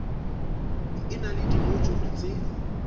e na le dimojule tse